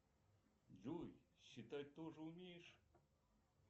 джой считать тоже умеешь